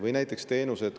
Või näiteks teenused.